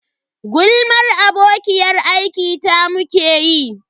Gulmar abokiyar aiki ta muke yi.